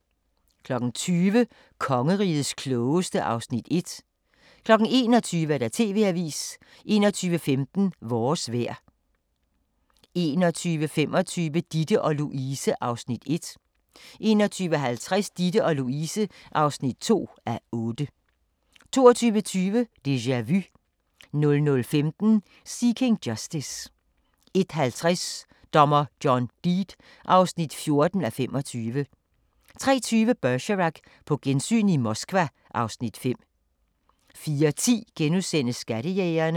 20:00: Kongerigets klogeste (Afs. 1) 21:00: TV-avisen 21:15: Vores vejr 21:25: Ditte & Louise (1:8) 21:50: Ditte & Louise (2:8) 22:20: Déjà Vu 00:15: Seeking Justice 01:50: Dommer John Deed (14:25) 03:20: Bergerac: På gensyn i Moskva (Afs. 5) 04:10: Skattejægerne *